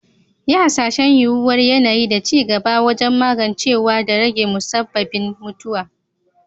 Yi Hasashen yuwuwar yanayi da ci gaba wajen magancewa da rage musabbabin mutuwa.